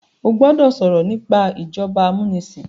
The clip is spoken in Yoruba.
o gbódò sọrọ nipa ìjọba amunisin